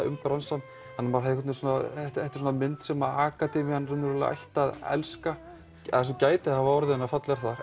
um bransann þetta er mynd sem akademían ætti að elska það sem gæti hafa orðið henni að falli er